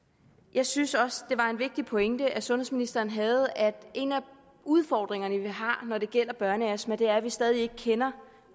jeg synes også det var en vigtig pointe sundhedsministeren havde at en af udfordringerne vi har når det gælder børneastma er at vi stadig ikke kender